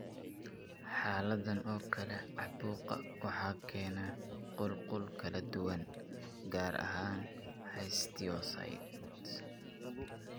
Xaaladdan oo kale caabuqa waxaa keena qulqulo kala duwan, gaar ahaan histiocytes.